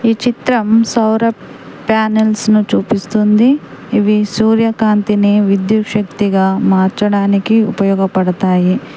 ఈ చిత్రం సౌర ప్యానెల్స్ ను చూపిస్తుంది. ఇవి సూర్యకాంతిని విద్యుత్ శక్తిగా మార్చడానికి ఉపయోగపడతాయి.